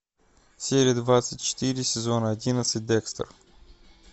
серия двадцать четыре сезон одиннадцать декстер